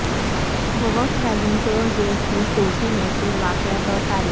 Woakes vegan ٹویر گیگ کی چھوٹی مشہور واقعات اور تاریخ